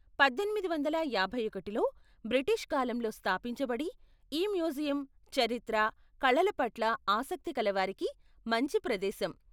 పద్దెనిమిది వందల యాభై ఒకటిలో బ్రిటిష్ కాలంలో స్థాపించబడి, ఈ మ్యూజియం చరిత్ర, కళల పట్ల ఆసక్తికలవారికి మంచి ప్రదేశం.